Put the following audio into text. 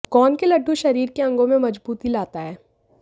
गोंद के लड्डू शरीर के अंगों में मजबूती लाता है